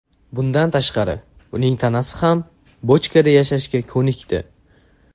Bundan tashqari uning tanasi ham bochkada yashashga ko‘nikdi.